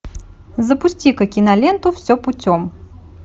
запусти ка киноленту все путем